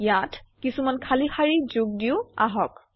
ইয়াত কিছুমান খালী শাৰী যোগ দিওঁ আহক